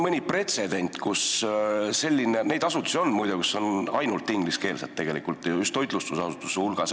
Neid asutusi, muide, kus on ainult ingliskeelne teenindus, on eriti just toitlustusasutuste hulgas.